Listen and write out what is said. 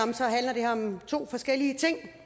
mange to forskellige ting